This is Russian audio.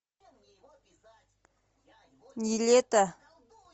не лето